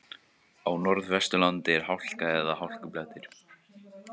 Á Norðvesturlandi er hálka eða hálkublettir